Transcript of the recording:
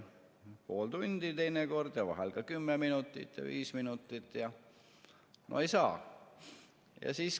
Pool tundi teinekord ja vahel ka 10 minutit ja 5 minutit ja no ei saa.